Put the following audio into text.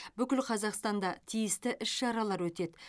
бүкіл қазақстанда тиісті іс шаралар өтеді